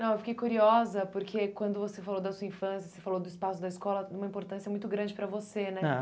Não, eu fiquei curiosa porque quando você falou da sua infância, você falou do espaço da escola, uma importância muito grande para você, né? Aham.